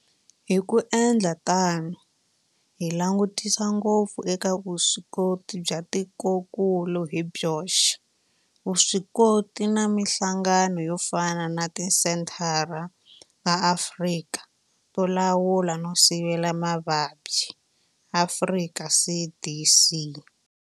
Hi ku endla tano hi langutisa ngopfu eka vuswikoti bya tikokulu hi byoxe, vuswikoti na mihlangano yo fana na Tisenthara ta Afrika to Lawula no Sivela Mavabyi Afrika CDC.